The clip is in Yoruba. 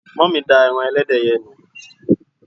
mummy da eran ẹlẹdẹ yen ni